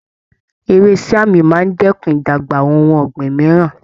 Ewé siam máa ń dẹ́kun ìdàgbà ohun ọ̀gbìn mìíràn.